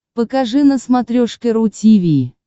покажи на смотрешке ру ти ви